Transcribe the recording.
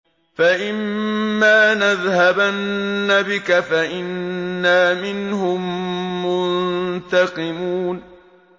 فَإِمَّا نَذْهَبَنَّ بِكَ فَإِنَّا مِنْهُم مُّنتَقِمُونَ